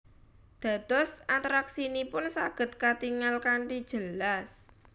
Dados atraksinipun saged katingal kanthi jelas